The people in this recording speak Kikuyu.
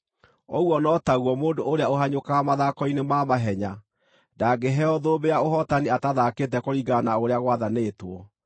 Ũguo no taguo, mũndũ ũrĩa ũhanyũkaga mathako-inĩ ma mahenya ndangĩheo thũmbĩ ya ũhootani atathaakĩte kũringana na ũrĩa gwathanĩtwo.